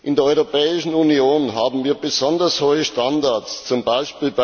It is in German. In der Europäischen Union haben wir besonders hohe Standards, z. B.